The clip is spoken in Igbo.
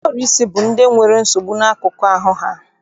Ndị ọrụsị bụ ndị nwere nsogbu n'akụkụ ahụ ha.